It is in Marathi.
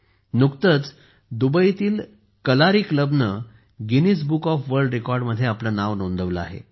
नुकतेच दुबईतील कलारी क्लबने गिनीज बुक ऑफ वर्ल्ड रेकॉर्डमध्ये आपले नाव नोंदवले आहे